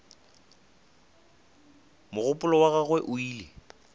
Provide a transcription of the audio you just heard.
mogopolo wa gagwe o ile